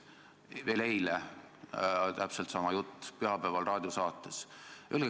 See oli veel eile ja täpselt sama jutt oli pühapäeval raadiosaates.